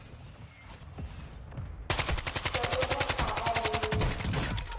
se o le kgaba le